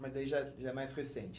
Mas daí já já é mais recente.